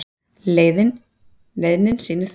Leiðnin sýnir það.